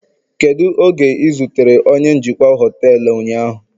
Kedu oge ị zutere onye njikwa họtelu ụnyaahụ